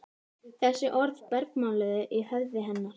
Þessi orð bergmáluðu í höfði hennar.